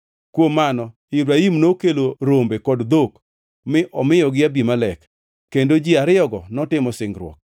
Kuom mano Ibrahim nokelo rombe kod dhok mi omiyogi Abimelek, kendo ji ariyogi notimo singruok.